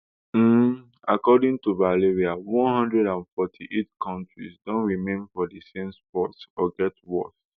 um according to valeria one hundred and forty-eight kontris don remain for di same spot or get worse